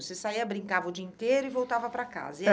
Você saía, brincava o dia inteiro e voltava para casa? E